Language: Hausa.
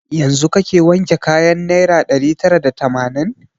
Yanzun kake wanke kayan naira ɗari tara da tamanin?